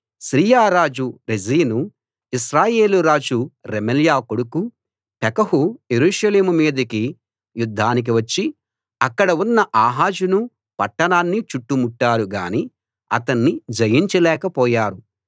Syria రాజు రెజీను ఇశ్రాయేలు రాజు రెమల్యా కొడుకు పెకహు యెరూషలేము మీదికి యుద్ధానికి వచ్చి అక్కడ ఉన్న ఆహాజును పట్టణాన్నీ చుట్టుముట్టారు గాని అతన్ని జయించలేక పోయారు